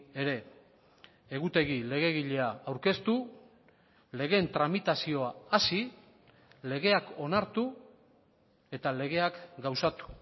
ere egutegi legegilea aurkeztu legeen tramitazioa hasi legeak onartu eta legeak gauzatu